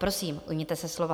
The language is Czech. Prosím, ujměte se slova.